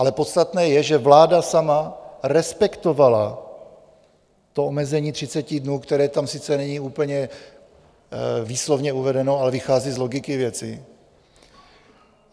Ale podstatné je, že vláda sama respektovala to omezení 30 dnů, které tam sice není úplně výslovně uvedeno, ale vychází z logiky věci.